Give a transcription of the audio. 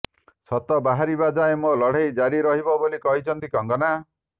ସତ ବାହାରିବା ଯାଏଁ ମୋ ଲଢେଇ ଜାରିରହିବ ବୋଲି କହିଛନ୍ତି କଙ୍ଗନା